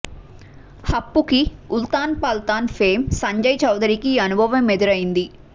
హప్పు కి ఉల్తాన్ పల్తాన్ ఫేమ్ సంజయ్ చౌదరికి ఈ అనుభవం ఎదురయ్యింది